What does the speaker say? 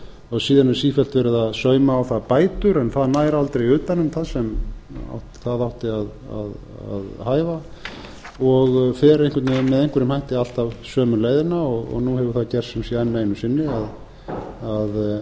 og síðan er sífellt verið að sauma á það bætur en það nær aldrei utan um það sem það átti að hæfa og ár einhvern veginn með einhverjum hætti alltaf sömu leiðina og nú hefur það gerst sem sé enn einu sinni að